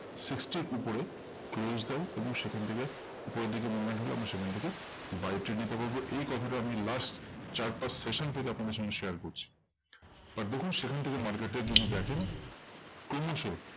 Sixty র উপরে close দেয় এবং সেখান থেকে উপরের দিকে movement হলে আমরা সেখান থেকে buy trip নিতে পারবো। এই কথাটা আমি last চার পাঁচ session থেকে আপনাদের সঙ্গে share করছি। but দেখুন সেখান থেকে market এর যদি দেখেন, ক্রমশ